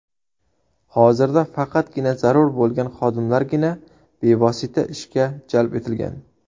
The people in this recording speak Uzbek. Hozirda faqatgina zarur bo‘lgan xodimlargina bevosita ishga jalb etilgan.